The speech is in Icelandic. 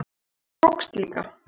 Það tókst líka.